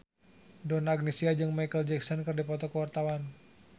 Donna Agnesia jeung Micheal Jackson keur dipoto ku wartawan